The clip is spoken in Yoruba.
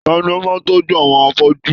Tani o máa tọjú àwọn afọju?